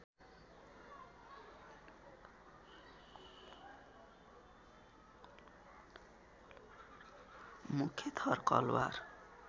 मुख्य थर कलवार